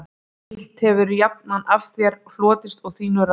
Illt hefir jafnan af þér hlotist og þínum ráðum